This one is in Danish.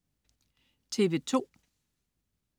TV2: